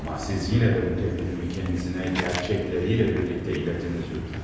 Amma siz yenə də bu təklifimi özünə həqiqətləri ilə birlikdə çatdırın, lütfən.